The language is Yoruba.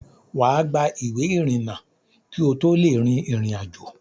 Wà á gba ìwé ìrìnnà kí o tó lè rin ìrìn àjò.